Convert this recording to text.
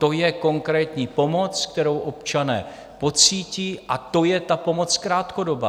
To je konkrétní pomoc, kterou občané pocítí, a to je ta pomoc krátkodobá.